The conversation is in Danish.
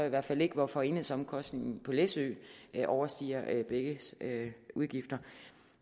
i hvert fald ikke hvorfor enhedsomkostningen på læsø overstiger begges udgifter